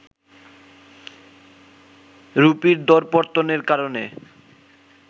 রুপির দরপতনের কারণে